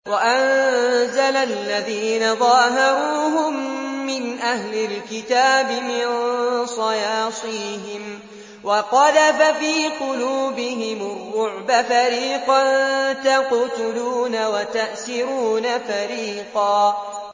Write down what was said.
وَأَنزَلَ الَّذِينَ ظَاهَرُوهُم مِّنْ أَهْلِ الْكِتَابِ مِن صَيَاصِيهِمْ وَقَذَفَ فِي قُلُوبِهِمُ الرُّعْبَ فَرِيقًا تَقْتُلُونَ وَتَأْسِرُونَ فَرِيقًا